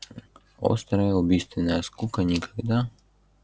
острая убийственная скука никогда